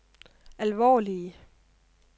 alvorlige